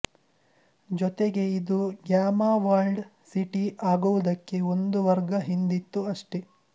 ಜೊತೆಗೆ ಇದು ಗ್ಯಾಮಾ ವರ್ಲ್ಡ್ ಸಿಟಿ ಆಗುವುದಕ್ಕೆ ಒಂದು ವರ್ಗ ಹಿಂದಿತ್ತು ಅಷ್ಟೆ